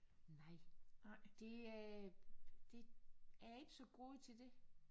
Nej det øh det jeg er ikke så god til det